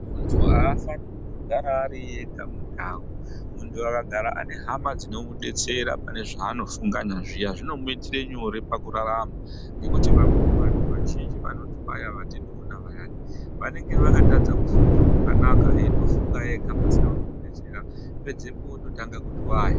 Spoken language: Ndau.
Muntu aafani kungogara ari ega mundau muntu akagara Ane hama dzinomudetsera pane zvaanofunganya zviya zvinomuitire nyore pakurarama ngekuti vamweni vantu vazhinji vanotwaya vatinoona vayani vanenge vakatadza kufunga zvakanaka eindofunga ega pasina unomudetsera pedzepo ototanga kutwaya.